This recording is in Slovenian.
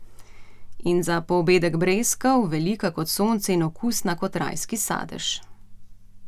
In za poobedek breskev, velika kot sonce in okusna kot rajski sadež.